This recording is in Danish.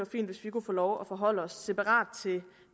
fint hvis vi kunne få lov at forholde os separat til